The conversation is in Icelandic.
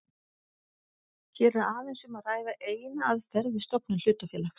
Hér er aðeins um að ræða eina aðferð við stofnun hlutafélags.